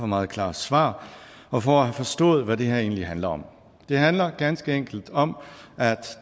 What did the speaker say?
meget klare svar og for at have forstået hvad det her egentlig handler om det handler ganske enkelt om at